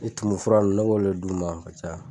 tumu fura nun ne b'o le d'u ma ka caya.